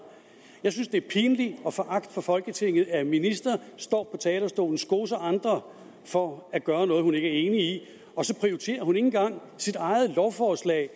jeg synes det er pinligt og foragt for folketinget at en minister står talerstolen skoser andre for at gøre noget hun ikke er enig i og så prioriterer hun ikke engang sit eget lovforslag